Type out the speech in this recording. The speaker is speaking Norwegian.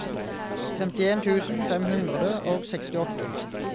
femtien tusen fem hundre og sekstiåtte